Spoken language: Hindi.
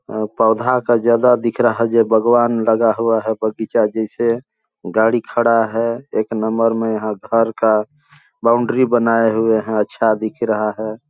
अ पौधा का जगह दिख रहा है ये बगवान लगा हुआ है बगीचा जैसे गाड़ी खड़ा है एक नंबर में यहाँ घर का बाउंड्री बनाये हुए है अच्छा दिख रहा हैं ।